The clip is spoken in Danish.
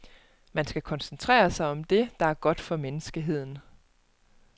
Man skal koncentrere sig om det, der er godt for menneskeheden.